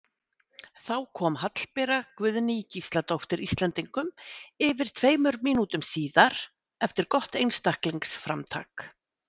Þá kom Hallbera Guðný Gísladóttir Íslendingum yfir tveimur mínútum síðar eftir gott einstaklingsframtak.